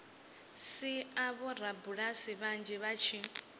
sia vhorabulasi vhanzhi vha tshi